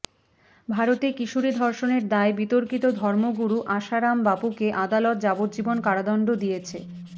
ভারতে কিশোরী ধর্ষণের দায়ে বিতর্কিত ধর্মগুরু আসারাম বাপুকে আদালত যাবজ্জীবন কারাদণ্ড দিয়েছে